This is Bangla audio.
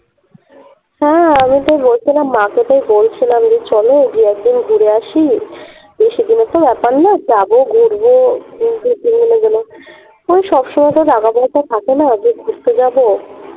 হ্যাঁ আমিতো বলছিলাম মা কে তো বলছিলাম যে চলো গিয়ে একদিন ঘুরে আসি তো সেদিনেরতো ব্যাপার নয় যাবো ঘুরবো কিন্তু তিন জনে গেলে ওই সবসময় তো বাবা থাকে না যে ঘুরতে যাবো